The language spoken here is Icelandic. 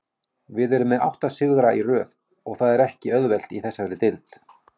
Við erum með átta sigra í röð og það er ekki auðvelt í þessari deild.